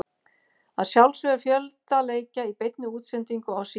Að sjálfsögðu er fjölda leikja í beinni útsendingu á Sýn.